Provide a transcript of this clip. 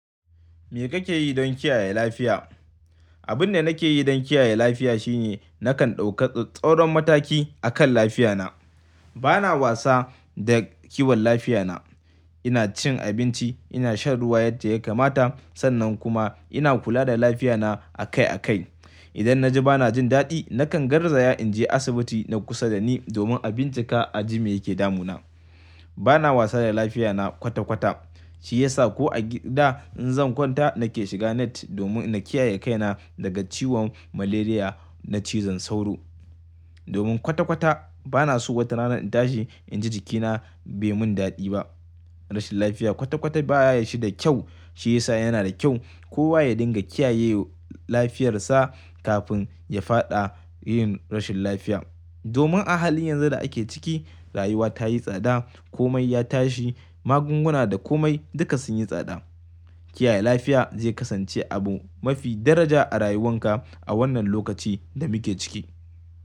Me kake yi don kiyaye lafiya? Abin da nake yi don kiyaye lafiya shine nakan ɗauka ts-tsauron mataki akan lafiya na. Bana wasa da kiwon lafiya na. Ina cin abinci, ina shan ruwa yadda ya kamata, sannan kuma ina kula da lafiya na akai akai. Idan na ji bana jin daɗi, nakan garzaya in je asibiti na kusa da ni domin a bincika aji me yake damu na. Bana wasa da lafiya na kwata kwata, shi yasa ko a gida in zan kwanta nake shiga net domin na kiyaye kai na daga ciwon malaria na cizon sauro. Domin kwata kwata bana so wata rana in tashi in ji jikina bai mun daɗi ba. Rashin lafiya kwata kwata baya yi shi da kyau, shi yasa yana da kyau kowa ya dinga kiyayye lafiyar sa kafin ya faɗa yin rashin lafiya. Domin a hali yanzu da ake ciki rayuwa tayi tsada, komai ya tashi, magunguna da komai duka sun yi tsada. Kiyaye lafiya zai kasance abu mafi daraja a rayuwan ka a wannan lokaci da muke ciki.